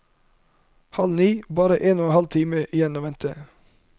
Halv ni, bare en og en halv time igjen å vente.